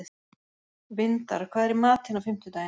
Vindar, hvað er í matinn á fimmtudaginn?